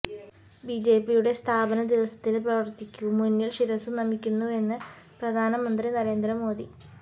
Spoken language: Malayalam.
ബിജെപിയുടെ സ്ഥാപന ദിവസത്തില് പ്രവര്ത്തകര്ക്കു മുന്നില് ശിരസു നമിക്കുന്നുവെന്ന് പ്രധാനമന്ത്രി നരേന്ദ്ര മോദി